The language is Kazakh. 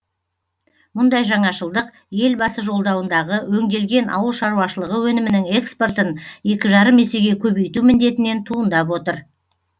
мұндай жаңашылдық елбасы жолдауындағы өңделген ауыл шаруашылығы өнімінің экспортын екі жарым есеге көбейту міндетінен туындап отыр